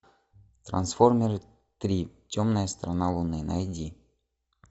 трансформеры три темная сторона луны найди